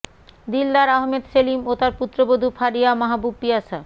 দিলদার আহমেদ সেলিম ও তার পুত্রবধূ ফারিয়া মাহবুব পিয়াসা